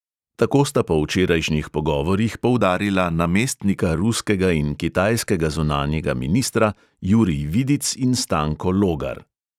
Tako sta po včerajšnjih pogovorih poudarila namestnika ruskega in kitajskega zunanjega ministra jurij vidic in stanko logar.